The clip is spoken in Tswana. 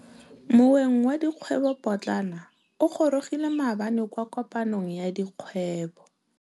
Moêng wa dikgwêbô pôtlana o gorogile maabane kwa kopanong ya dikgwêbô.